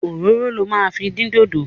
Òróró lo máa fi dín dodo.